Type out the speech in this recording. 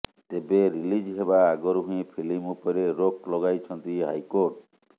ତେବେ ରିଲିଜ ହେବା ଆଗରୁ ହିଁ ଫିଲ୍ମ ଉପରେ ରୋକ୍ ଲଗାଇଛନ୍ତି ହାଇକୋର୍ଟ